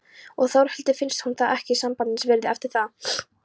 Og Þórhildi finnst hún ekki sambandsins virði eftir það.